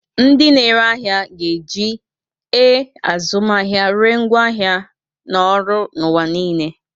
Ndị na-ere ahịa ga-eji e-azụmahịa ree ngwaahịa na ọrụ n'ụwa niile.